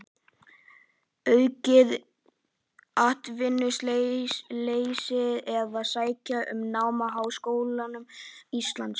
Aukið atvinnuleysi eða sækja um nám í háskólum Íslands?